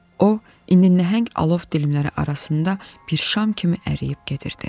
O indi nəhəng alov dilimləri arasında bir şam kimi əriyib gedirdi.